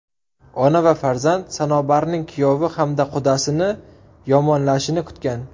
Ona va farzand Sanobarning kuyovi hamda qudasini yomonlashini kutgan.